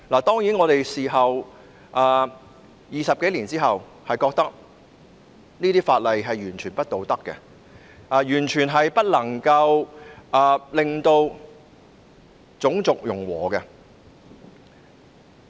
當然 ，20 多年後，我們認為這些法例是完全不道德的，亦完全無法達致種族融和。